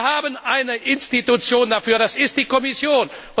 Und wir haben eine Institution dafür, das ist die Kommission!